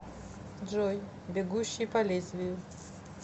джой бегущий по лезвию